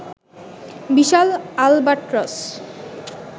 Vishal Albatross